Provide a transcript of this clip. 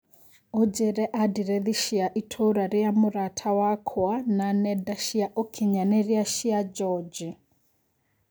Ũnjĩre andirethi cia ĩtũũra rĩa mũrata wakwa na nenda ciaũkinyanĩrĩa cia George.